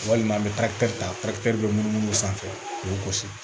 Walima an bɛ taa ka taa munumunu sanfɛ k'u gosi